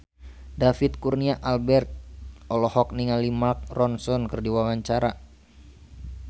David Kurnia Albert olohok ningali Mark Ronson keur diwawancara